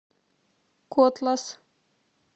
котлас